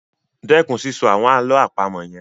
Stop saying those riddles